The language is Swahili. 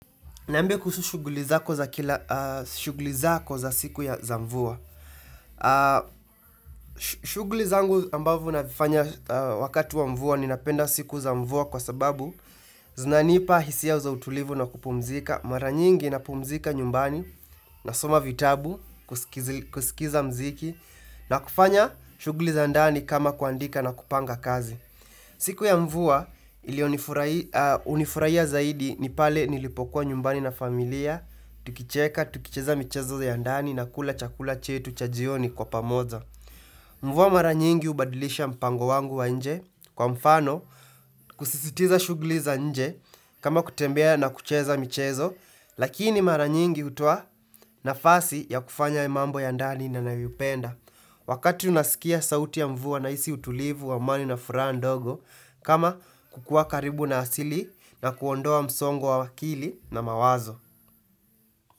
Niambie kuhusu shughuli zako za siku ya za mvua. Shuguli zangu ambavyo navifanya wakati wa mvua ninapenda siku za mvua kwa sababu zinanipa hisia za utulivu na kupumzika. Mara nyingi napumzika nyumbani nasoma vitabu kusikiza muziki na kufanya shughuli za ndani kama kuandika na kupanga kazi. Siku ya mvua iliyonifurahiya zaidi ni pale nilipokuwa nyumbani na familia, tukicheka, tukicheza michezo ya ndani na kula chakula chetu cha jioni kwa pamoja. Mvua mara nyingi hubadilisha mpango wangu wa nje kwa mfano kusisitiza shughuli za nje kama kutembea na kucheza michezo lakini mara nyingi hutoa nafasi ya kufanya mambo ya ndani na nayoipenda. Wakati unasikia sauti ya mvua nahisi utulivu wa amani na furaha ndogo kama kukuwa karibu na asili na kuondoa msongo wa akili na mawazo.